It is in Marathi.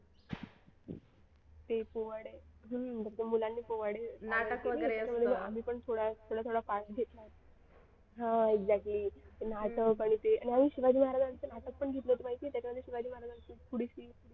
ते पोवाडे म्हणून मुलांनी पोवाडे आम्ही पण थोडा थोडा part घेतला होता हा exactly आणि नाटक आणि ते आणि शिवाजी महाराजांचं नाटक पण घेतलं होतं माहिती आहे त्याच्यामध्ये शिवाजी महाराजांची थोडीशी